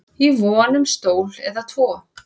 í von um stól eða tvo